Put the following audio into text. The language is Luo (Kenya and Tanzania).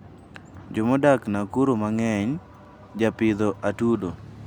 Jomodak Nakuru mangeny japidho atudo